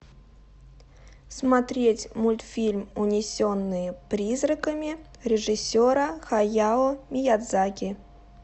смотреть мультфильм унесенные призраками режиссера хаяо миядзаки